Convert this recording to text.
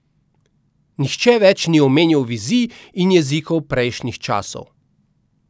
Nihče več ni omenjal vizij in jezikov prejšnjih časov.